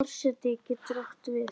Forseti getur átt við